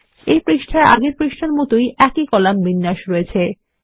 এই পৃষ্ঠায় আগের পৃষ্ঠার মত একই কলাম বিন্যাস রয়েছে